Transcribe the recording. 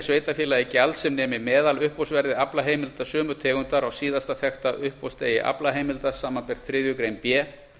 sveitarfélagi gjald sem nemi meðaluppboðsverði aflaheimilda sömu tegundar á síðasta þekkta uppboðsdegi aflaheimilda samanber þriðju grein b